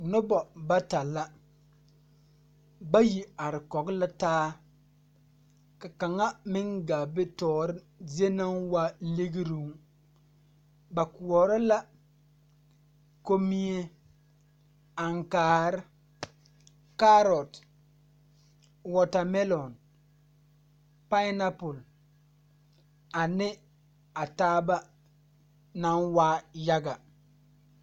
Nobɔ bata la bayi are kɔg la taa ka kaŋa meŋ gaa be toore zie naŋ waa ligruŋ ba koɔrɔ la kommie, aŋkaare, kaarot, wɔɔtamɛlɔŋ, painapul ane a taaba naŋ waa yaga.